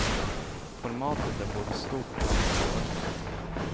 Formatet är både stort och annorlunda.